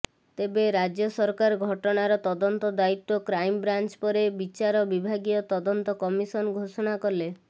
ତେବେ ରାଜ୍ୟ ସରକାର ଘଟଣାର ତଦନ୍ତ ଦାୟିତ୍ୱ କ୍ରାଇମବ୍ରାଞ୍ଚ ପରେ ବିଚାର ବିଭାଗୀୟ ତଦନ୍ତ କମିଶନ ଘୋଷଣା କଲେ